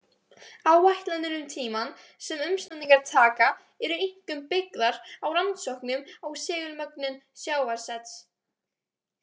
Áætlanir um tímann sem umsnúningar taka, eru einkum byggðar á rannsóknum á segulmögnun sjávarsets.